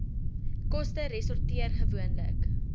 koste resorteer gewoonlik